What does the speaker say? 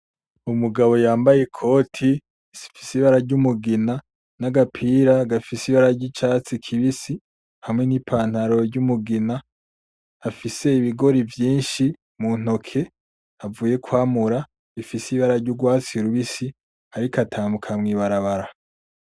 Umugabo yambaye ikoti rifise ibara ry’umugina n’agapira gafise ibara ry’icatsi kibisi hamwe n’ipantaro ry’umugina afise ibigori vyishi muntoki avuye kwamura bibara ry’urwatsi rubisi ariko atambuka mu ibarabara.